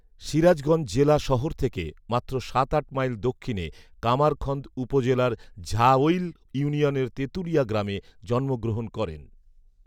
সিরাজগঞ্জ জেলা শহর থেকে মাত্র সাত আট মাইল দক্ষিণে কামারখন্দ উপজেলার ঝাঐল ইউনিয়নের তেঁতুলিয়া গ্রামে জন্ম গ্রহণ করেন